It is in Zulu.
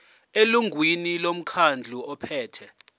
elungwini lomkhandlu ophethe